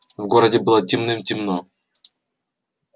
в городе было темным-темно